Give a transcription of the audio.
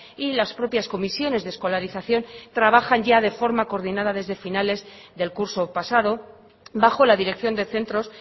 y las propias comisiones de escolarización trabajan ya de forma coordinada desde finales del curso pasado bajo la dirección de centros